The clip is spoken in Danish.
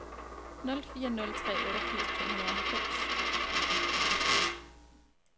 nul fire nul tre otteogfirs to hundrede og halvfems